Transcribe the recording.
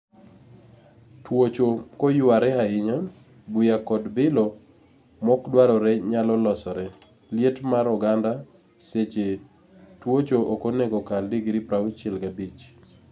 Tuocho koyware ahinya, buya kod bilo mokdwarore nyalo losore. Liet mar oganda seche twuocho okonego kal degree prauchiel gabich.